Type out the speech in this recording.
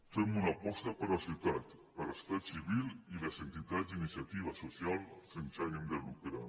fem una aposta per la societat per la societat civil i les entitats d’iniciativa social sense ànim de lucre